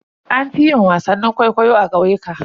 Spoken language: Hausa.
An fi yin wasannin kwaikwayo a ƙauyuka.